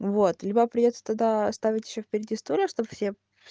вот либо придётся тогда ставить ещё впереди стулья чтоб все